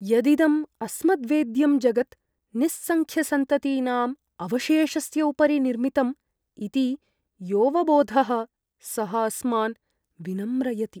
यदिदं अस्मद्वेद्यं जगत् निस्संख्यसन्ततीनाम् अवशेषस्य उपरि निर्मितम् इति योऽवबोधः सः अस्मान् विनम्रयति।